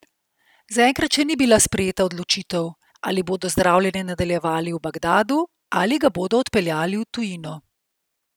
Zaenkrat še ni bila sprejeta odločitev, ali bodo zdravljenje nadaljevali v Bagdadu ali ga bodo odpeljali v tujino.